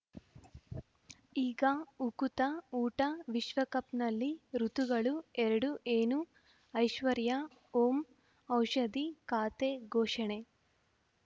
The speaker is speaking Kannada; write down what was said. ಈಗ ಉಕುತ ಊಟ ವಿಶ್ವಕಪ್‌ನಲ್ಲಿ ಋತುಗಳು ಎರಡು ಏನು ಐಶ್ವರ್ಯಾ ಓಂ ಔಷಧಿ ಖಾತೆ ಘೋಷಣೆ